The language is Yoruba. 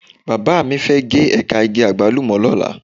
Bàbá mi fẹ́ gé ẹ̀ka igi Àgbálùmọ̀ lọ́la.